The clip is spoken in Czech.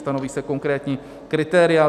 Stanoví se konkrétní kritéria.